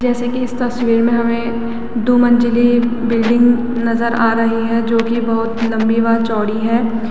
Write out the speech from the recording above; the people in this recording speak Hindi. जैसे कि इस तस्वीर में हमें दो मंजिले बिल्डिंग नज़र आ रही है जो की बोहोत लम्बी व चौड़ी है।